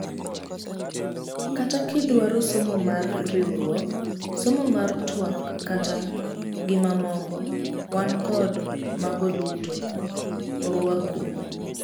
Kata kidwaro somo mar rakruok, somo mar tuak kata gi mamoko, wan kod mago duto, oruaku.